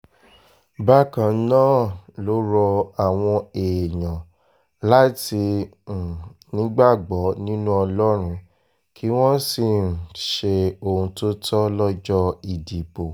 bákan náà ló rọ àwọn èèyàn láti um nígbàgbọ́ nínú ọlọ́run kí wọ́n sì um ṣe ohun tó tọ́ lọ́jọ́ ìdìbò